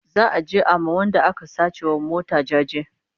za'a je a ma Wanda aka sace wa mota jaje